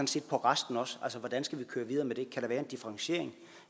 til resten altså hvordan skal vi køre videre med det kan der være en differentiering